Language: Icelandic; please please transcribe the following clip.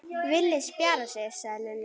Villi spjarar sig, sagði Lilli.